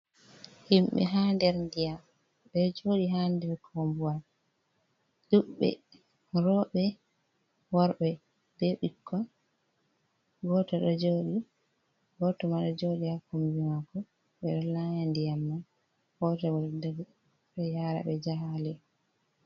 "Himɓe" ha nder ndiyam ɓeɗo jooɗi ha nder koobuwal ɗudɓe rooɓe, worɓe, bei ɓikkon. Goto ɗo jooɗi, goto ma ɗo jooɗi ha kombi maako ɓeɗo laaya diyam man goto bo ɗo dari ɓeɗo yaaraɓe jahangal.